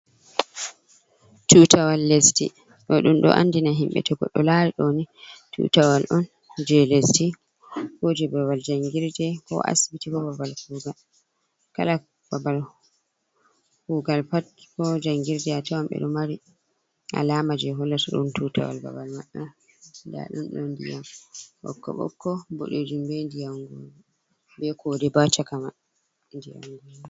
Tutawal lesdi, dodum do andina himbe togo do lari doni tutawal on je lesdi, koje babal jangirde, ko asbiti, ko babal kugal, kala babal kugal pat ko jangirde a tawam bedo mari alama je hollata dun tutawal babal man on dadon don diyam bokoboko, bodejum, be ndiyam goro be kode bo ha chakaman.